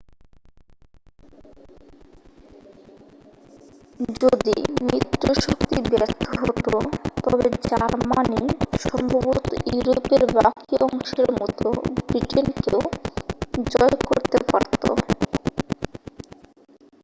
যদি মিত্র শক্তি ব্যর্থ হত তবে জার্মানি সম্ভবত ইউরোপের বাকি অংশের মতো ব্রিটেনকেও জয় করতে পারত